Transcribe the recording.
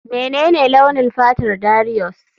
Menene launin fatar Darius?